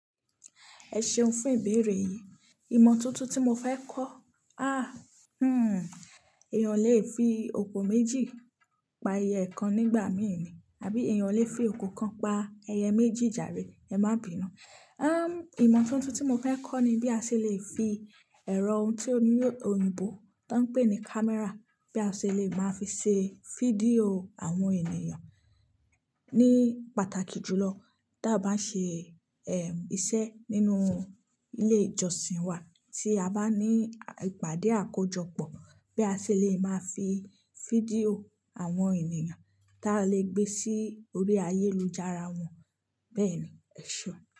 Ẹ ṣeun fún ìbéèrè yìí. Ìmọ́tótó tí mo fẹ́ kọ́? Ah! Hmm. Èèyàn ò lè fi òkò méjì pa ẹyẹ kan nígbà mí ì ni. Àbí èèyàn lè fi oko kan pa ẹyẹ méjì jàre. Ẹ má bínù. Um, ìmọ́ tuntun tí mo fẹ́ kọ́ ni bí a ṣe lè fi ẹ̀rọ ohun tí ó ní òyìnbó tó ń pè ní camera, bí a ṣe lè máa fi ṣe fídíò àwọn ènìyàn. Ni pàtàkì jùlọ, tí a bá ń ṣe, eh, iṣẹ́ nínú ilé ìjọsìn wa. Tí a bá ní ìpàdé àkójọpọ̀, bí a ṣe lè máa fi fídíò àwọn ènìyàn tá lè gbé sí orí ayélujára wọn. Bẹ́ẹ̀ ni. Ẹ ṣé.